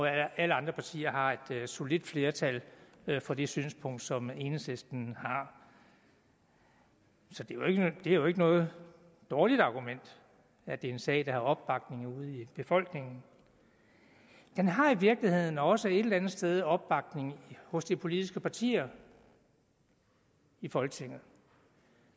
alle andre partier har et solidt flertal for det synspunkt som enhedslisten har så det er jo ikke noget dårligt argument at det er en sag der har opbakning ude i befolkningen den har i virkeligheden også et eller andet sted opbakning hos de politiske partier i folketinget